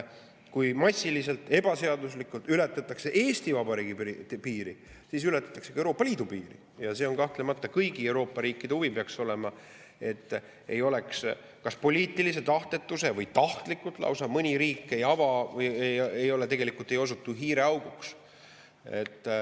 Kui massiliselt ebaseaduslikult ületatakse Eesti Vabariigi piiri, siis ületatakse ka Euroopa Liidu piiri ja see on kahtlemata kõigi Euroopa riikide huvi või peaks olema, et mõni riik ei osutuks kas poliitilise tahtetuse või lausa tahtlikult hiireauguks.